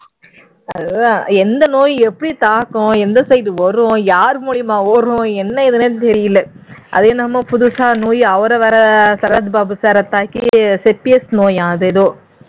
அதுதான் எந்த நோய் எப்படி தாக்கும் எந்த side வரும் யாரு மூலமா வரும் என்ன ஏதுன்னே தெரியல அது என்னமோ புதுசா நோய் அவரை வேற சரத்பாபு sir அ தாக்கி sepsis நோயாம் ஏதோ